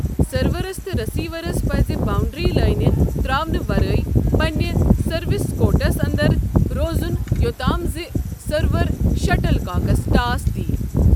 Servers تہٕ receivers پٔزِ boundary لٲنہٕ ترٛاونہٕ ورٲے پنٛنہِ سٔروس کورٹس انٛدر روزُن یوٚتام زِ سرور شٹل کاکس ٹاس دِیہ۔